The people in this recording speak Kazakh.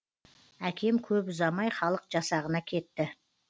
әкем көп ұзамай халық жасағына кетті